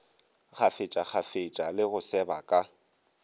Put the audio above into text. kgafetšakgafetša le go seba ka